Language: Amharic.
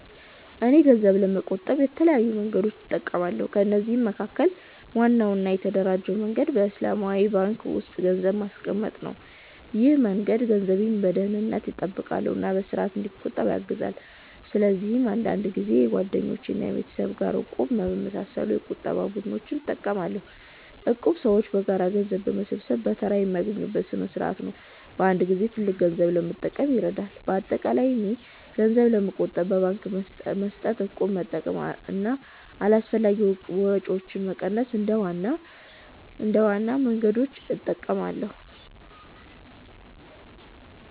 እኔ ገንዘብ ለመቆጠብ በተለያዩ መንገዶች እጠቀማለሁ። ከነዚህ መካከል ዋናው እና የተደራጀው መንገድ በእስላማዊ ባንክ ውስጥ ገንዘብ ማስቀመጥ ነው። ይህ መንገድ ገንዘቤን በደህንነት ይጠብቃል እና በስርዓት እንዲቆጠብ ያግዛል። እንዲሁም አንዳንድ ጊዜ ከጓደኞች ወይም ከቤተሰብ ጋር “እቁብ” በመሳሰሉ የቁጠባ ቡድኖች እጠቀማለሁ። እቁብ ሰዎች በጋራ ገንዘብ በመሰብሰብ በተራ የሚያገኙበት ስርዓት ነው እና በአንድ ጊዜ ትልቅ ገንዘብ ለመጠቀም ይረዳል። በአጠቃላይ እኔ ገንዘብ ለመቆጠብ በባንክ መስጠት፣ እቁብ መጠቀም እና አላስፈላጊ ወጪዎችን መቀነስ እንደ ዋና መንገዶች እጠቀማለሁ።